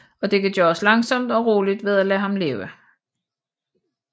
Og det kan gøres langsomt og roligt ved at lade ham leve